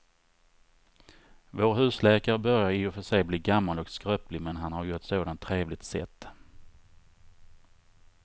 Vår husläkare börjar i och för sig bli gammal och skröplig, men han har ju ett sådant trevligt sätt!